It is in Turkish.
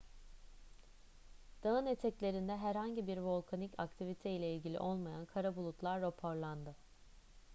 dağın eteklerinde herhangi bir volkanik aktivite ile ilgili olmayan kara bulutlar raporlandı